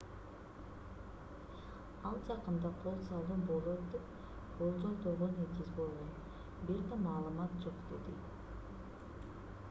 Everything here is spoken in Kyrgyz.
ал жакында кол салуу болот деп болжолдоого негиз болгон бир да маалымат жок - деди